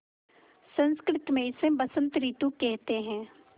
संस्कृत मे इसे बसंत रितु केहेते है